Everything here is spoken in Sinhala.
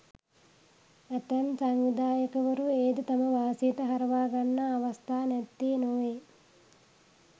ඇතැම් සංවිධායකවරු එයද තම වාසියට හරවා ගන්නා අවස්ථා නැත්තේ නොවේ.